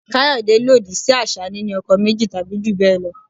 Kayode lòdì sí àṣà níni ọkọ méjì tàbí jù bẹ́ẹ̀ lọ.